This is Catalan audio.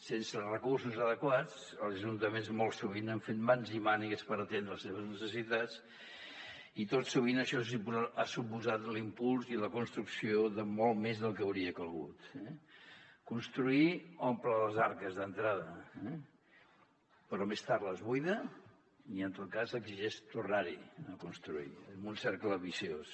sense els recursos adequats els ajuntaments molt sovint han fet mans i mànigues per atendre les seves necessitats i tot sovint això ha suposat l’impuls i la construcció de molt més del que hauria calgut eh construir omple les arques d’entrada però més tard les buida i en tot cas exigeix tornar hi a construir amb un cercle viciós